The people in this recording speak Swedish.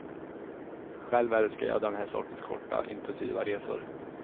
Själv älskar jag den här sortens korta intensiva resor.